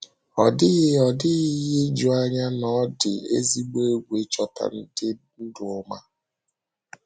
Ọ dịghị Ọ dịghị ihe ijuanya na ọ dị ezigbo egwu ịchọta ndị ndu ọma.